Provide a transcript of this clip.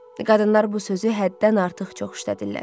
Qadınlar bu sözü həddən artıq çox işlədirlər.